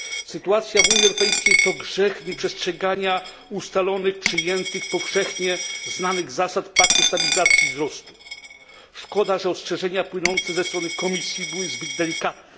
Sytuacja w Unii Europejskiej to grzech nieprzestrzegania ustalonych powszechnie przyjętych zasad paktu stabilizacji i wzrostu. Szkoda, że ostrzeżenia płynące ze strony Komisji były zbyt delikatne.